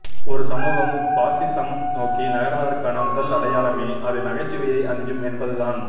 ஒரு சமூகம் ஃபாஸிசம் நோக்கி நகர்வதற்கான முதல் அடையாளமே அது நகைச்சுவையை அஞ்சும் என்பதுதான்